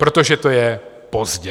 Protože to je pozdě.